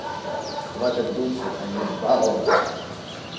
хватит дуться заибала блять